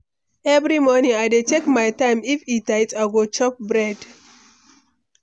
Every morning, I dey check my time; if e tight, I go chop bread.